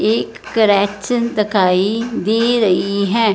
एक करेक्शन दखाई दे रही है।